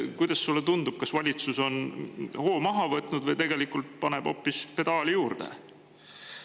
Kuidas sulle tundub, kas valitsus on hoo maha võtnud või tegelikult hoopis pedaali?